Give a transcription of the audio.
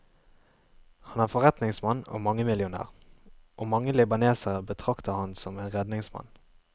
Han er forretningsmann og mangemillionær, og mange libanesere betrakter ham som en redningsmann.